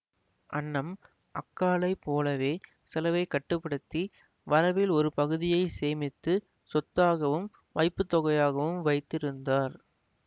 அன்னம் அக்காளைப் போலவே செலவைக் கட்டு படுத்தி வரவில் ஒரு பகுதியை சேமித்து சொத்தாகவும் வைப்பு தொகையாகவும் வைத்திருந்தார்